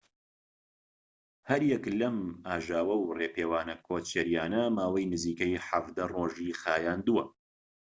هەر یەك لەم ئاژاوە و ڕێپێوانە کۆچەرییانە ماوەی نزیکەی ١٧ ڕۆژی خایاندووە